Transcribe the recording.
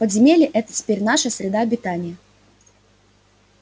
подземелье это теперь наша среда обитания